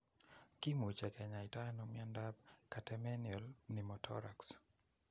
Kimuche kinyaita ano miondap catamenial pneumothorax